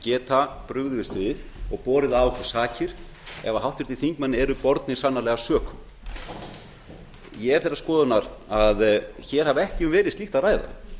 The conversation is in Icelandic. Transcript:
geta brugðist við og borið af okkur sakir ef háttvirtir þingmenn eru bornir sannanlega sökum ég er þeirrar skoðunar að hér hafi ekki verið um slíkt að ræða